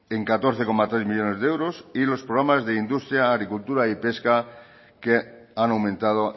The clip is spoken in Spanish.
en catorce coma tres millónes de euros y los programas de industria agricultura y pesca que han aumentado